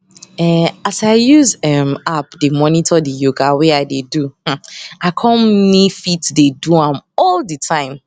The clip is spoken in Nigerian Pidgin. eh as i use um app dey monitor di yoga wey i dey do um i com me fit dey do am all the time